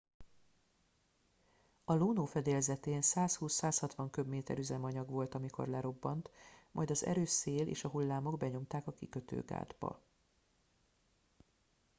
a luno fedélzetén 120-160 köbméter üzemanyag volt amikor lerobbant majd az erős szél és a hullámok benyomták a kikötőgátba